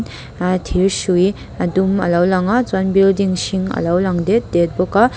ahh thîr hrui a dum a lo lang a chuan building hring a lo dêt dêt bawk a.